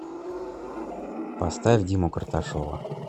поставь диму карташова